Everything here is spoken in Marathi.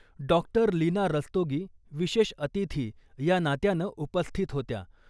डॉक्टर लीना रस्तोगी विशेष अतिथी या नात्यानं उपस्थित होत्या.